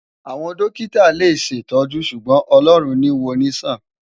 Awòn dòkitá lé ṣétòjú ṣúgbòn Òlòrún ni wònisán